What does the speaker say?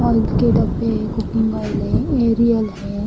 Oil के डब्बे है कुकिंग ओइल है एरियल है।